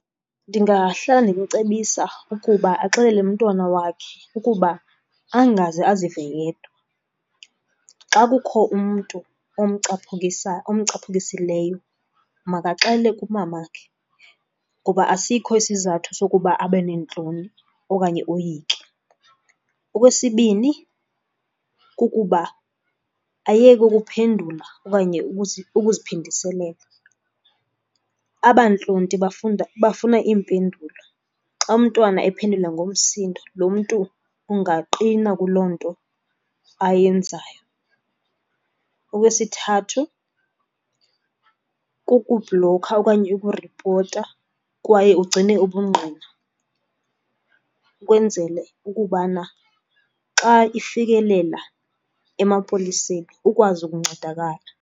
Ndingahlala ndimcebisa ukuba axelele umntwana wakhe ukuba angaze azive yedwa. Xa kukho umntu omcaphukisileyo makaxele kumamakhe kuba asikho isizathu sokuba abe neentloni okanye oyike. Okwesibini, kukuba ayeke okuphendula okanye ukuziphindiselela. Aba ntlonti bafuna impendulo, xa umntwana ephendula ngomsindo lo mntu ungaqina kuloo nto ayenzayo. Okwesithathu, kukubhlokha okanye ukuripota kwaye ugcine ubungqina ukwenzele ukubana xa ifikelela emapoliseni ukwazi ukuncedakala.